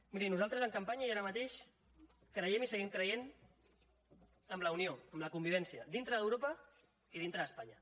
miri nosaltres en campanya i ara mateix creiem i seguim creient en la unió en la convivència dintre d’europa i dintre d’espanya